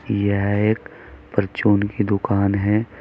यह एक परचून की दुकान है।